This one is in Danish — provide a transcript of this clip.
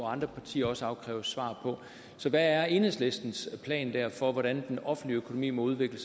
andre partier også afkræves svar på så hvad er enhedslistens plan for hvordan den offentlige økonomi må udvikle